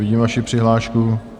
Vidím vaši přihlášku.